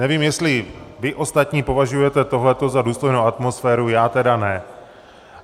Nevím, jestli vy ostatní považujete tohleto za důstojnou atmosféru - já tedy ne.